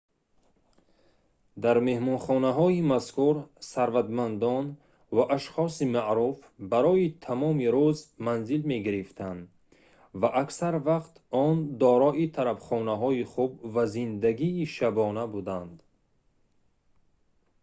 дар меҳмонхонаҳои мазкур сарватмандон ва ашхоси маъруф барои тамоми рӯз манзил мегирифтанд ва аксар вақт он дорои тарабхонаҳои хуб ва зиндагии шабона буданд